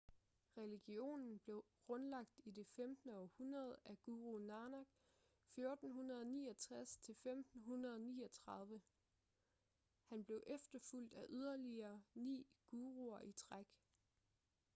religionen blev grundlagt i det 15. århundrede af guru nanak 1469–1539. han blev efterfulgt af yderligere ni guruer i træk